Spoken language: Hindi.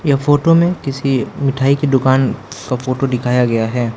ये फोटो में किसी मिठाई की दुकान का फोटो दिखाया गया है।